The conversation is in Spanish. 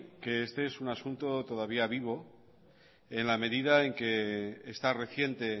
que este es un asunto todavía vivo en la medida en que está reciente